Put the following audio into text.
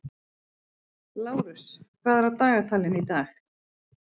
Lárus, hvað er á dagatalinu í dag?